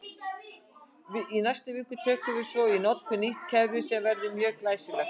Í næstu viku tökum við svo í notkun nýtt kerfi sem verður mjög glæsilegt!